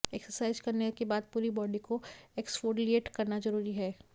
exercise करने के बाद पूरी बॉडी को एक्सफोलिएट करना जरूरी है